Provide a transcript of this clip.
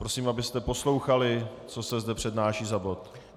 Prosím, abyste poslouchali, co se zde přednáší za bod.